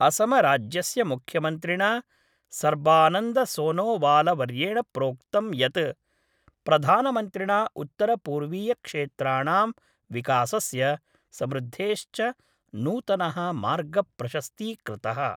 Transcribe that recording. असमराज्यस्य मुख्यमन्त्रिणा सर्बानन्दसोनोवालवर्येण प्रोक्तं यत् प्रधानमन्त्रिणा उत्तरपूर्वीयक्षेत्राणां विकासस्य समृद्धेश्च नूतनः मार्ग प्रशस्तीकृतः।